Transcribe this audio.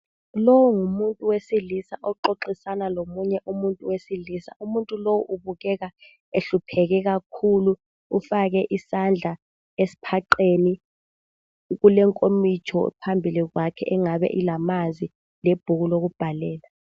Lowu ngumuntu wesilisa oxoxisana lomunye umuntu wesilisa .umuntu lowu ubukeka ehlupheke kakhulu ,ufake isandla esiphaqeni .kulenkomistho phambilikwakhe engabe ilamanzi lebhuku lokubhalela.